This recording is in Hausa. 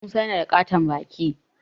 Musa yana da ƙaton baki